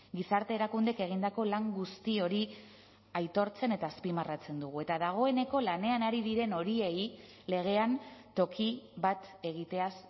gizarte erakundeek egindako lan guzti hori aitortzen eta azpimarratzen dugu eta dagoeneko lanean ari diren horiei legean toki bat egiteaz